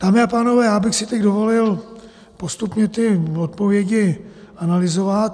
Dámy a pánové, já bych si teď dovolil postupně ty odpovědi analyzovat.